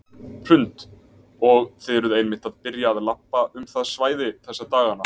Hrund: Og þið eruð einmitt að byrja að labba um það svæði þessa dagana?